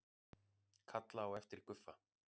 Kalla á eftir Guffa.